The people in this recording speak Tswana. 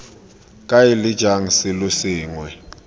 kae leng jang selo sengwe